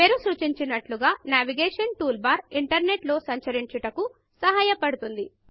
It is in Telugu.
పేరు సూచించినట్లుగా Navigationన్యావిగేషన్ టూల్బార్ ఇంటర్నెట్ లో సంచరించుటకు సహాయ పడుతుంది